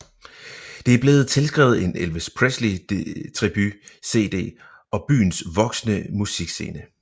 Det er blevet tilskrevet en Elvis Presley tribut CD og byens voksende musikscene